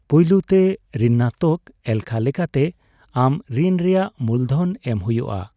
ᱯᱳᱭᱞᱳᱛᱮ, ᱨᱤᱱᱟᱜᱛᱚᱠ ᱮᱞᱠᱷᱟ ᱞᱮᱠᱟᱛᱮ ᱟᱢ ᱨᱤᱱ ᱨᱮᱭᱟᱜ ᱢᱩᱞᱫᱷᱚᱱ ᱮᱢ ᱦᱳᱭᱳᱜᱼᱟ ᱾